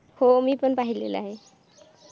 हो मी पण पाहिलेलं आहे.